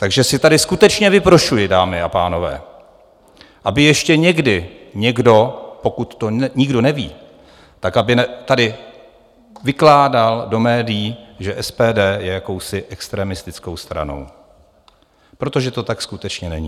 Takže si tady skutečně vyprošuji, dámy a pánové, aby ještě někdy někdo, pokud to nikdo neví, tak aby tady vykládal do médií, že SPD je jakousi extremistickou stranou, protože to tak skutečně není.